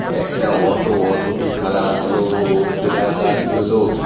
একটা auto auto -টি colour হলো ব্ল্যাক আর ইয়োলো ।